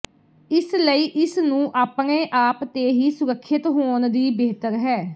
ਇਸ ਲਈ ਇਸ ਨੂੰ ਆਪਣੇ ਆਪ ਤੇ ਹੀ ਸੁਰੱਖਿਅਤ ਹੋਣ ਦੀ ਬਿਹਤਰ ਹੈ